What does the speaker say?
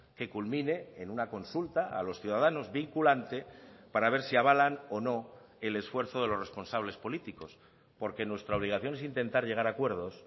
que culmine en una consulta a los ciudadanos vinculante para a ver si avalan o no el esfuerzo de los responsables políticos porque nuestra obligación es intentar llegar a acuerdos